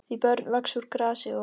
Því börn vaxa úr grasi og.